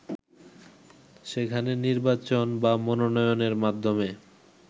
সেখানে নির্বাচন বা মনোনয়নের মাধ্যমে